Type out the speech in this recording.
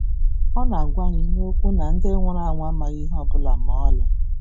Ọ na-agwa anyị n’Okwu ya na “ndị nwụrụ anwụ amaghị ihe ọ bụla ma ọlị.”